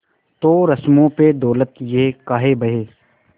तो रस्मों पे दौलत ये काहे बहे